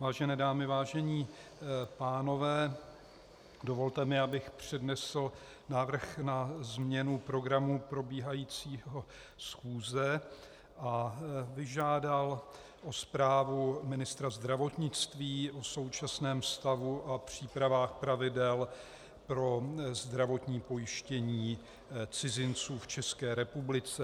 Vážené dámy, vážení pánové, dovolte mi, abych přednesl návrh na změnu programu probíhající schůze a požádal o zprávu ministra zdravotnictví o současném stavu a přípravách pravidel pro zdravotní pojištění cizinců v České republice.